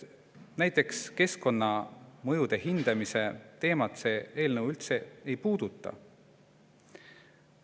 Näiteks keskkonnamõjude hindamise teemat ei puuduta see eelnõu üldse.